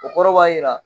O kɔrɔ b'a jira